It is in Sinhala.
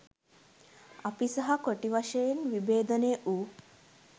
අපි සහ කොටි වශයෙන් විභේදනය වූ